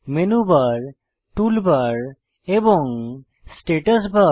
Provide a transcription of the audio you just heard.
menu bar toolbar এবং status বার